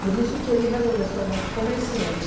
Por isso que ele resolveu se tornar comerciante.